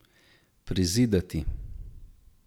Prizidati.